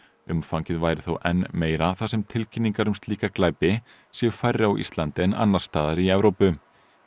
umfangið væri þó enn meira þar sem tilkynningar um slíka glæpi séu færri á Íslandi en annars staðar í Evrópu